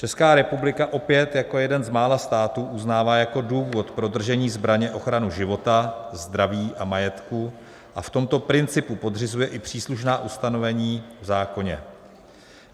Česká republika opět jako jeden z mála států uznává jako důvod pro držení zbraně ochranu života, zdraví a majetku a v tomto principu podřizuje i příslušná ustanovení v zákoně.